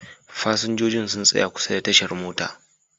Fasinjojin sun tsaya kusa da tashar mota.